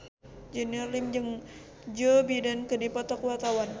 Junior Liem jeung Joe Biden keur dipoto ku wartawan